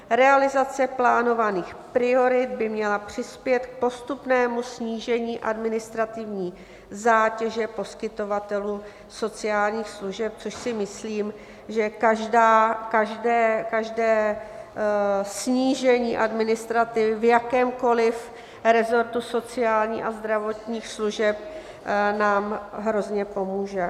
Realizace plánovaných priorit by měla přispět k postupnému snížení administrativní zátěže poskytovatelů sociálních služeb, což si myslím, že každé snížení administrativy v jakémkoliv resortu sociálních a zdravotních služeb nám hrozně pomůže.